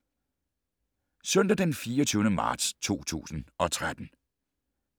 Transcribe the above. Søndag d. 24. marts 2013